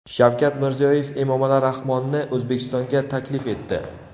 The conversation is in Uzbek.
Shavkat Mirziyoyev Emomali Rahmonni O‘zbekistonga taklif etdi.